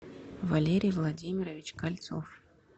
валерий владимирович кольцов